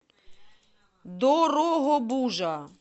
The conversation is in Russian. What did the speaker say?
дорогобужа